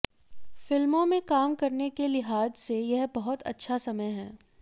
फिल्मों में काम करने के लिहाज से यह बहुत अच्छा समय है